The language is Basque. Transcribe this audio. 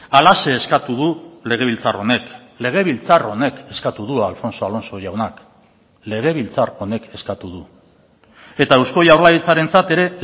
halaxe eskatu du legebiltzar honek legebiltzar honek eskatu du alfonso alonso jaunak legebiltzar honek eskatu du eta eusko jaurlaritzarentzat ere